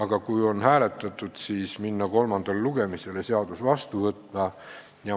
Ja kui on hääletatud, siis minna kolmandale lugemisele ja seadus vastu võtta.